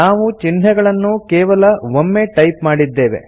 ನಾವು ಚಿಹ್ನೆಗಳನ್ನು ಕೇವಲ ಒಮ್ಮೆ ಟೈಪ್ ಮಾಡಿದ್ದೇವೆ